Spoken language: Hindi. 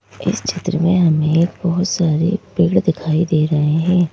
इस क्षेत्र में हमें एक बहुत सारे पेड़ दिखाई दे रहे हैं।